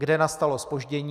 Kde nastalo zpoždění?